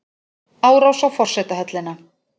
Árás á forsetahöllina